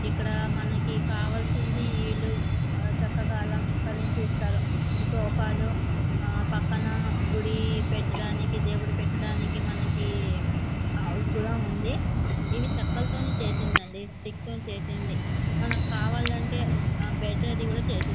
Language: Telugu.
ఇక్కడ మనకి కావలసింది ఇల్లు. చక్కగా అలంకరించి ఇస్తారు. సోఫాలు ఆ పక్కన గుడి పెట్టడానికి దేవుడు పెట్టడానికి మనకి హౌజ్ కూడా ఉంది. ఇవి చెక్కలతో చేసిందండి స్టిక్ తో చేసింది. మనకి కావాలంటే బెడ్ కూడా చేసి ఇస్తా--